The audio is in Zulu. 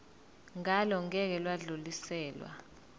ngalo ngeke lwadluliselwa